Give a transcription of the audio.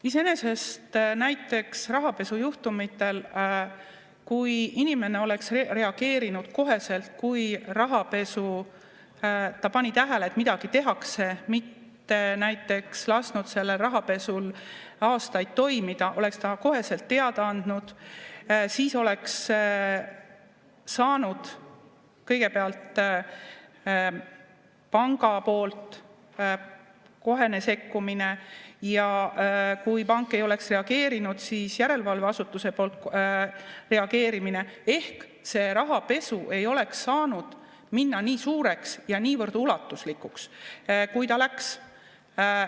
Iseenesest näiteks rahapesujuhtumitel, kui inimene oleks reageerinud koheselt, kui ta pani tähele, et midagi tehakse, mitte lasknud selle rahapesul aastaid toimuda, kui ta oleks koheselt teada andnud, siis oleks kõigepealt panga kohene sekkumine ja kui pank ei oleks reageerinud, siis järelevalveasutuse reageerimine, ehk see rahapesu ei oleks saanud minna nii suureks ja niivõrd ulatuslikuks, kui ta läks.